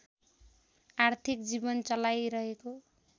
आर्थिक जीवन चलाइरहेको